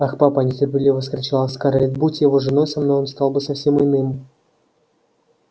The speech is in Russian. ах папа нетерпеливо вскричала скарлетт будь я его женой со мной он стал бы совсем иным